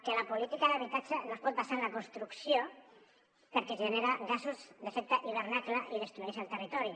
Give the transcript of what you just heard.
que la política d’habitatge no es pot basar en la construcció perquè genera gasos d’efecte hivernacle i destrueix el territori